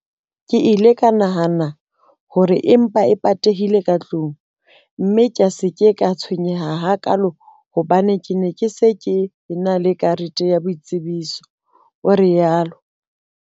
Ke ile ka nahana hore e mpa e patehile ka tlung, mme ka se ke ka tshwenyeha hakaalo hobane ke ne ke se ke ena le karete ya boitsebiso, o rialo.